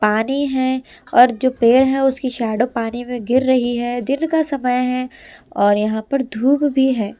पानी है और जो पेड़ है उसकी शैडो पानी में गिर रही है दिन का समय है और यहां पर धूप भी है।